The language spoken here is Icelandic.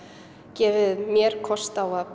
gefið mér kost á að